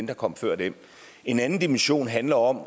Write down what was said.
der kom før dem en anden dimension handler om